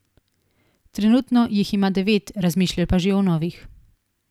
Trenutno jih ima devet, razmišlja pa že o novih.